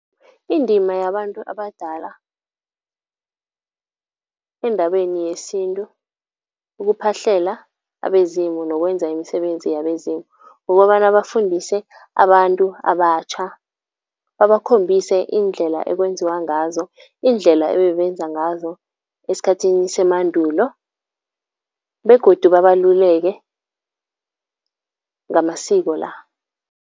Indima yabantu abadala endabeni yesintu, ukuphahlela abezimu nokwenza imisebenzi yabezimu kukobana bafundise abantu abatjha. Babakhombise iindlela ekwenziwa ngazo, indlela ebebenza ngazo esikhathini semandulo begodu babaluleke ngamasiko la.